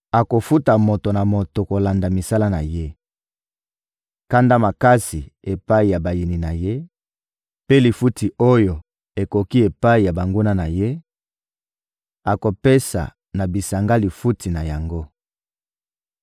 Akofuta moto na moto kolanda misala na ye: kanda makasi epai ya bayini na Ye, mpe lifuti oyo ekoki epai ya banguna na Ye; akopesa na bisanga lifuti na yango.